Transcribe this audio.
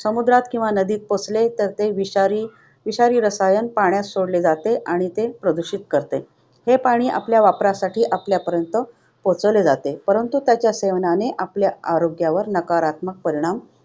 समुद्रात किंवा नदीत पोहोचले तर ते विषारी विषारी रसायन पाण्यात सोडले जाते आणि ते प्रदूषित करते. हे पाणी आपल्या वापरासाठी आपल्यापर्यंत पोहोचवले जाते, परंतु त्याच्या सेवनाने आपल्या आरोग्यावर नकारात्मक परिणाम होतो.